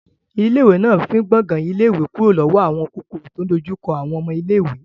Ilé ìwé náà fín gbàngan ilé ìwé kúrò lọ́wọ́ àwọn kòkòrò tí ò ń dojú kọ àwọn ọmọ iléèwé